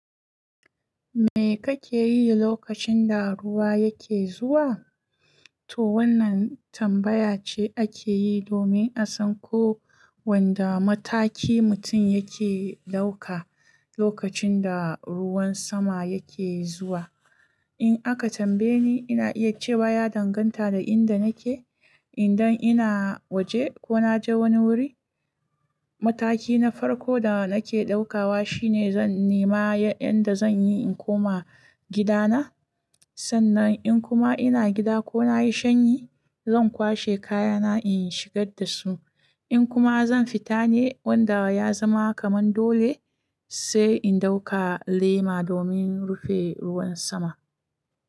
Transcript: Me kake yi lokacin da ruwa yake zuwa? To wannan tambaya ce ake yi domin a san ko wanda mataki mutum yake ɗauka lokacin da ruwan sama yake zuwa. In aka tambaye ni, ina iya cewa ya danganta da inda nake. Idan ina waje ko na je wani wuri, mataki na farko da nake ɗaukawa shine zan nema inda zan yi in koma gidana. Sannan in kuma ina gida ko na yi shanyi, zan kwashe kayana in shigar da su. In kuma zan fita ne wanda ya zama kamar dole, sai in ɗauka lema domin rufe ruwan sama.